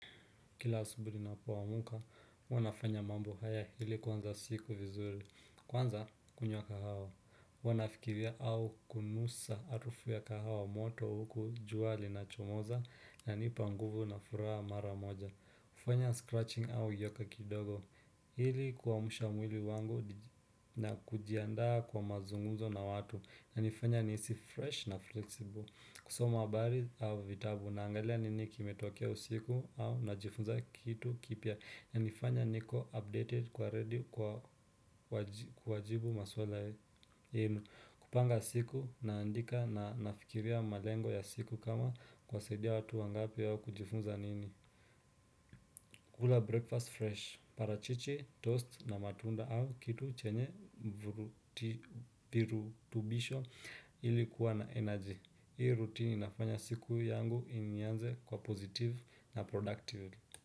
Kila asubuhi ninapoamka huwa nafanya mambo haya ili kuanza siku vizuri. Kwanza, kunywa kahawa. Huwa nafikiria au kunusa harufu ya kahawa moto huku jua linachomoza, inanipa nguvu na furaha mara moja. Fanya scratching au yoga kidogo. Ili kuamsha mwili wangu na kujiandaa kwa mazungumzo na watu inanifanya nisi fresh na flexible. Kusoma habari au vitabu, naangalia nini kimetokea usiku au najifunza kitu kipya. Inanifanya niko updated kuwa ready kwa kuwajibu maswala yenyu. Kupanga siku naandika na nafikiria malengo ya siku kama kuwasaidia watu wangapi au kujifunza nini. Kula breakfast fresh parachichi, toast na matunda au kitu chenye virutubisho ili kuwa na energy. Hii rutini inafanya siku yangu ianze kwa positive na productive.